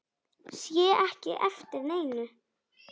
Sé ekki eftir neinu.